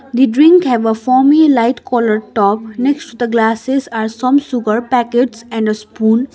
the drink have a foamy light colour top next to the glasses are some sugar packets and a spoon.